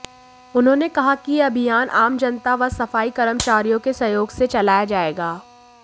उन्होंने कहा कि यह अभियान आम जनता व सफाई कर्मचारियों के सहयोग से चलाया जाएगा